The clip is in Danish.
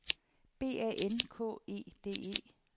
B A N K E D E